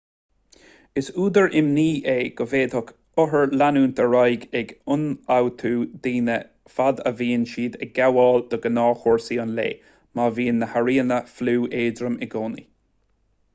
is údar imní é go bhféadfadh othair leanúint ar aghaidh ag ionfhabhtú daoine fad a bhíonn siad ag gabháil do ghnáthchúrsaí an lae má bhíonn na hairíonna fliú éadrom i gcónaí